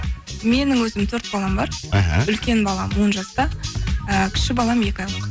менің өзім төрт балам бар іхі үлкен балам он жаста і кіші балам екі айлық